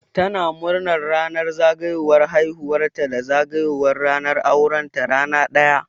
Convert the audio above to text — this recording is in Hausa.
Tana murnar ranar zagayowar haihuwar ta da zagayowar ranar auren ta rana ɗaya